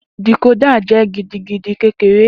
Decoder jẹ gidigidi kekere.